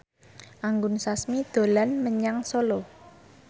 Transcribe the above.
Anggun Sasmi dolan menyang Solo